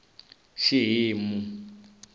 xihimu